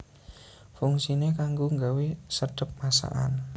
Fungsiné kanggo gawé sedhep masakan